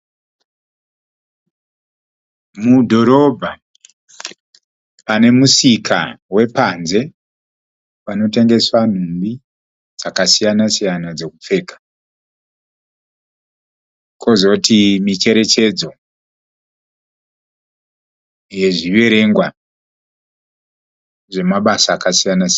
Mudhorobha, pane musika wepanze pano tengeswa nhumbi dzakasiyana siyana dzekupfeka. Kozoti micherechedzo yezviverengwa zvemabasa akasiyana siyana.